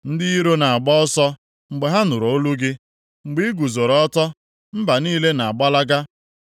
Ndị iro na-agba ọsọ mgbe ha nụrụ olu gị. Mgbe ị guzoro ọtọ, mba niile na-agbalaga.